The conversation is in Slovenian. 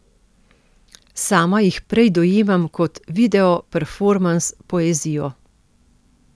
Sama jih prej dojemam kot videoperformans poezijo.